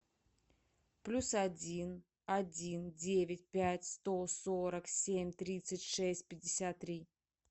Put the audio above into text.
плюс один один девять пять сто сорок семь тридцать шесть пятьдесят три